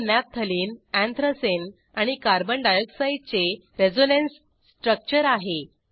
हे naphthalene anthracene आणि carbon डाय ऑक्साईडचे रेझोनन्स स्ट्रक्चर आहे